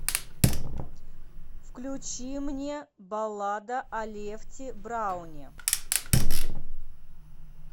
включи мне баллада о лефти брауне